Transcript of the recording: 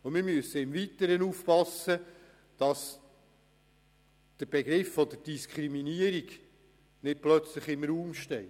Im Weiteren müssen wir aufpassen, dass nicht plötzlich der Begriff der Diskriminierung im Raum steht.